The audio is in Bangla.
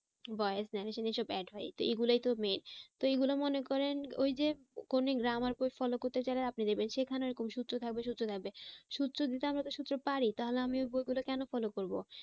Voice narration এসব add হয়। তো এইগুলাই তো main তো এগুলা মনে করেন ওই যে কোনো grammar বই follow করতে চাইলে আপনি দেখবেন সেইখানে ওরকম সূত্র থাকবে, সূত্র থাকবে সূত্র দিতে, আমরা তো সূত্র পারি তাহলে আমি ওই বই গুলো কেন follow করবো?